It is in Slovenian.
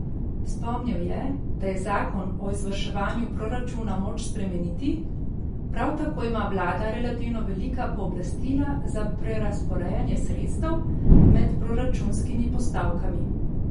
Spomnil je, da je zakon o izvrševanju proračuna moč spremeniti, prav tako ima vlada relativno velika pooblastila za prerazporejanje sredstev med proračunskimi postavkami.